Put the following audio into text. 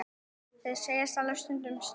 Þeir segjast alveg stundum slást.